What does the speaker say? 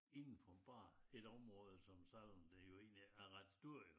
Inden for bare et område som selvom det jo egentlig er ret stort jo